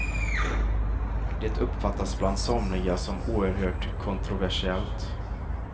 Det uppfattas bland somliga som oerhört kontroversiellt.